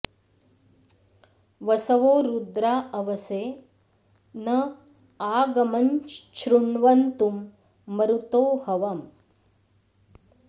वस॑वो रु॒द्रा अव॑से न॒ आ ग॑मञ्छृ॒ण्वन्तु॑ म॒रुतो॒ हव॑म्